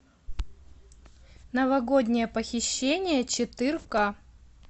новогоднее похищение четырка